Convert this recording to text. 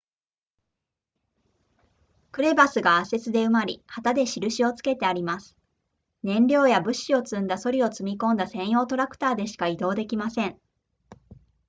クレバスが圧雪で埋まり旗で印をつけてあります燃料や物資を積んだソリを積み込んだ専用トラクターでしか移動できません